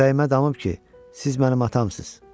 Ürəyimə damıb ki, siz mənim atamsınız.